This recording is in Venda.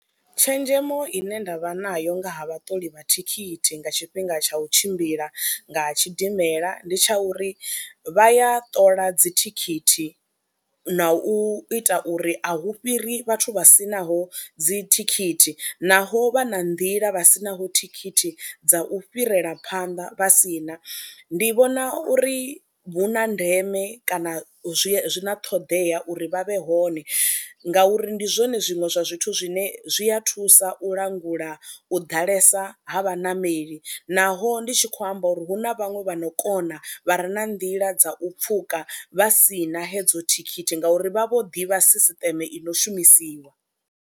Tshenzhemo ine nda vha nayo nga ha vhaṱoli vha thikhithi nga tshifhinga tsha u tshimbila nga tshidimela ndi tsha uri, vha ya ṱola dzithikhithi na u ita uri a hu fhiri vhathu vha si naho dzithikhithi naho vha na nḓila, vha si naho thikhithi dza u fhirela phanḓa vha si na, ndi vhona uri hu na ndeme kana zwi na ṱhoḓea uri vha vhe hone ngauri ndi zwone zwiṅwe zwa zwithu zwine zwi a thusa u langula u ḓalesa ha vhanameli naho ndi tshi khou amba uri hu na vhaṅwe vha no kona vha re na nḓila dza u pfhuka vha si na hedzo thikhithi ngauri vha vho ḓivha sisiṱeme i no shumisiwa.